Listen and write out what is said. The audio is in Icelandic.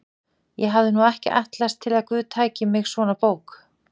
Ég hafði nú ekki ætlast til að guð tæki mig svona bók